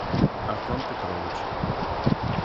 артем петрович